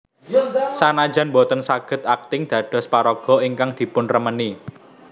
Sanajan boten saged akting dados paraga ingkang dipunremeni